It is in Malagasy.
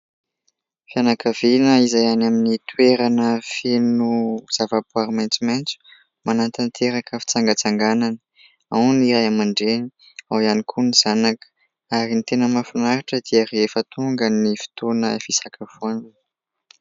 Fianakaviana izay any amin'ny toerana feno zavaboary maitsomaitso, manatanteraka fitsangatsanganana, ao ny Ray aman-dReny, ao ihany koa ny zanaka ary ny tena mahafinaritra dia rehefa tonga fotoana fisakafoanana.